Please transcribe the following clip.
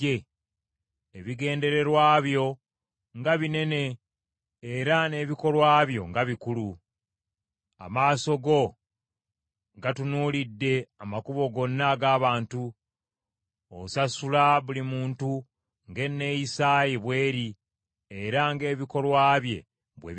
ebigendererwa byo nga binene era n’ebikolwa byo nga bikulu. Amaaso go gatunuulidde amakubo gonna ag’abantu, osasula buli muntu ng’enneeyisa ye bweri era ng’ebikolwa bye bwe biri.